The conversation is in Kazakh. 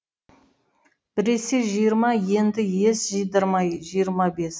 біресе жиырма енді ес жидырмай жиырма бес